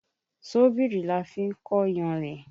Ṣọ́bìrì la fi ń kó yanrìn.